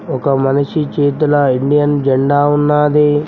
ఒక మనిషి చేతిలో ఇండియన్ జెండా ఉన్నది